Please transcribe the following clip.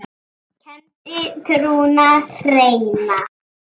kenndi trúna hreina.